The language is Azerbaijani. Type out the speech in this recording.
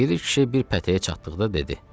Piri kişi bir pətəyə çatdıqda dedi: